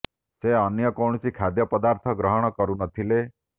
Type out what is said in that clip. ସେ ଅନ୍ୟ କୌଣସି ଖାଦ୍ୟ ପଦାର୍ଥ ଗ୍ରହଣ କରୁ ନ ଥିଲେ